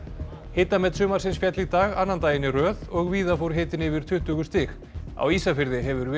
hitamet sumarsins féll í dag annan daginn í röð og víða fór hitinn yfir tuttugu stig á Ísafirði hefur